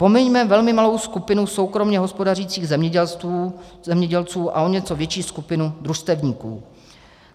Pomiňme velmi malou skupinu soukromě hospodařících zemědělců a o něco větší skupinu družstevníků.